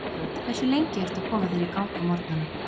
Ísland Hversu lengi ertu að koma þér í gang á morgnanna?